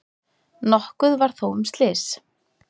Nokkuð var þó um slys.